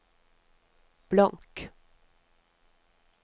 blank